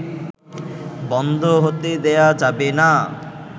বন্ধ হতে দেয়া যাবেনা